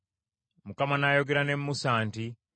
Mukama n’ayogera ne Musa nti,